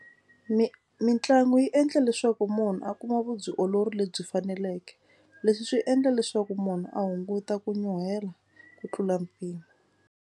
Mi mitlangu yi endla leswaku munhu a kuma vubyiolori lebyi faneleke. Leswi swi endla leswaku munhu a hunguta ku nyuhela ku tlula mpimo.